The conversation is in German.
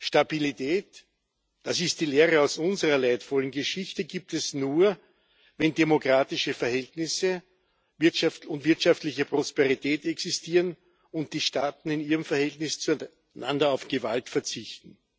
Stabilität das ist die Lehre aus unserer leidvollen Geschichte gibt es nur, wenn demokratische Verhältnisse, Wirtschaft und wirtschaftliche Prosperität existieren und die Staaten in ihrem Verhältnis zueinander auf Gewalt verzichten.